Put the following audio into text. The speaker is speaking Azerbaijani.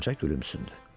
Qoca gülümsündü.